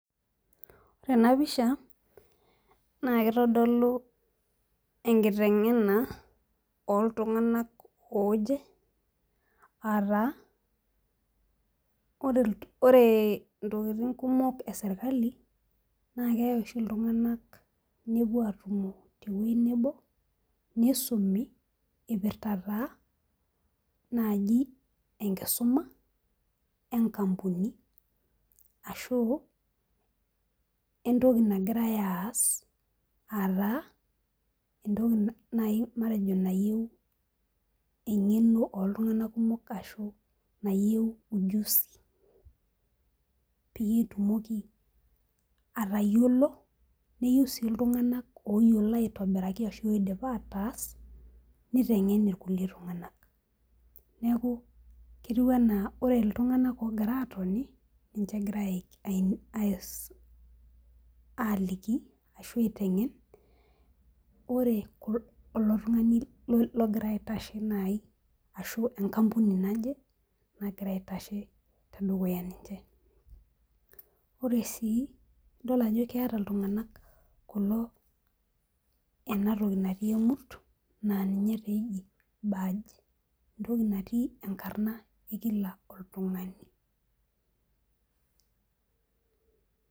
Ore ena pisha naa keitodolu enkitengena ooltung'anak ooje aataa ore intokitin kumok serikali naa keyau iltung'anak nepuoi aatumo tewueji nebo neisumi eiipirta enkampuni ashuu entoki nagirai aas matejo nayieu eng'eno ooltung'anak kumok peyie itumoki atayiolo niyieu sii iltung'anak ooidapa aataas niteng irkulie tung'anak neeku ore iltung'anak oogira atoni naa ninche egirai aaliki ore ilo tung'ani ohira aitashe tedukuya ore sii ajo keeta kulo ina toki natii emurt naa ninye eji baj entoki natii enkarna ekila oltung'ani